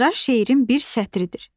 Misra şeirin bir sətridir.